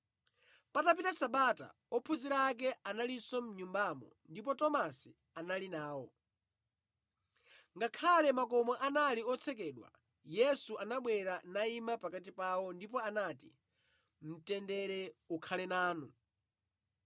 Patapita sabata, ophunzira ake analinso mʼnyumbamo ndipo Tomasi anali nawo. Ngakhale makomo anali otsekedwa, Yesu anabwera nayima pakati pawo, ndipo anati, “Mtendere ukhale nanu!”